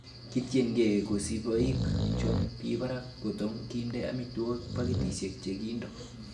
Kityenge kosiboik chon bi barak kotok kinde amitwogik pakitisiek che kindo.